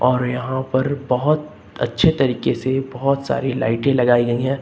और यहां पर बहुत अच्छे तरीके से बहुत सारी लाइटें लगाई गई हैं।